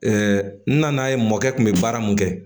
n nan'a ye mɔkɛ kun bɛ baara mun kɛ